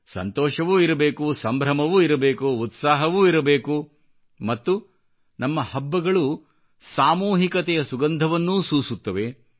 ಸಂತೋಷವೂ ಇರಬೇಕು ಸಂಭ್ರಮವೂ ಇರಬೇಕು ಉತ್ಸಾಹವೂ ಇರಬೇಕು ಮತ್ತು ನಮ್ಮ ಹಬ್ಬಗಳು ಸಾಮೂಹಿಕತೆಯ ಸುಗಂಧವನ್ನೂ ಸೂಸುತ್ತವೆ